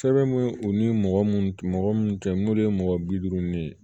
Sɛbɛn mun u ni mɔgɔ mun mɔgɔ munnu kɛ n'olu ye mɔgɔ bi duuru ni ye